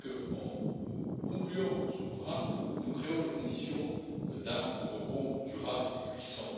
En concluant ce programme, nous créons les conditions d'un rebond durable et puissant.